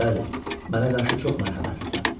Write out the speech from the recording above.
Bəli, mənə qarşı çox mərhəmətlisən.